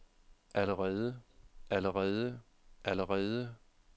allerede allerede allerede